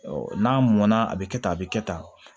n'a mɔnna a bɛ kɛ tan a bɛ kɛ tan